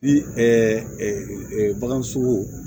Ni baganso